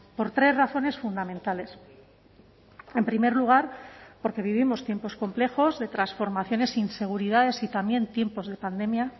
por tres razones fundamentales en primer lugar porque vivimos tiempos complejos de transformaciones inseguridades y también tiempos de pandemia